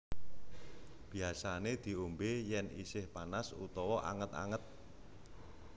Biasané diombé yén isih panas utawa anget anget